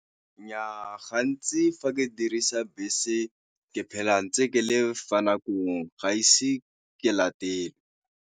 Nnyaa gantsi fa ke dirisa bese ke phela ke ntse ke le fa nakong ga ise ke latelwe.